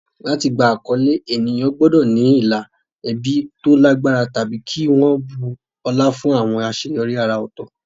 Láti gba àkọlé, ènìyàn gbọ́dọ̀ ní ìlà ẹbí tó lágbára tàbí kí wọ́n bu ọlá fún àwọn àṣeyọrí àrà ọ̀tọ̀.